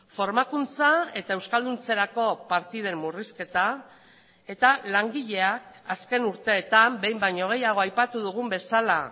formakuntza eta euskalduntzerako partiden murrizketa eta langileak azken urteetan behin baino gehiago aipatu dugun bezala